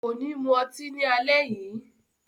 Ko ni mu ọtí ni alẹ́ yii.